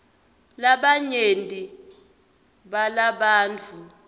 labanyenti balabantfu